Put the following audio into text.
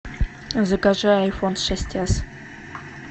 закажи айфон шесть эс